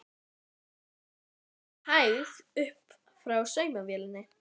Mamma leit með hægð upp frá saumavélinni.